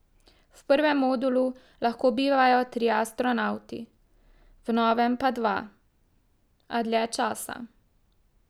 V prvem modulu lahko bivajo trije astronavti, v novem pa dva, a dlje časa.